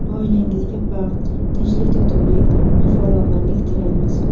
Oilangizga baxt, tinchlik-totuvlik va farovonlik tilaymiz.